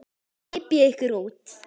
Hypjið ykkur út.